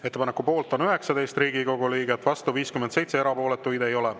Ettepaneku poolt on 19 Riigikogu liiget, vastu 57, erapooletuid ei ole.